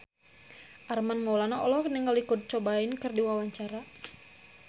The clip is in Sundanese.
Armand Maulana olohok ningali Kurt Cobain keur diwawancara